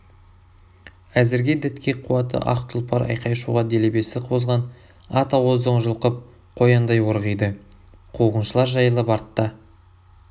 әзірге дәтке қуаты ақ тұлпар айқай-шуға делебесі қозған ат ауздығын жұлқып қояндай орғиды қуғыншылар жайылып артта